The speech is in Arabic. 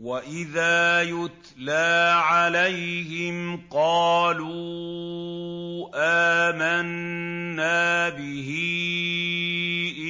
وَإِذَا يُتْلَىٰ عَلَيْهِمْ قَالُوا آمَنَّا بِهِ